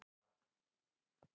Úti að aka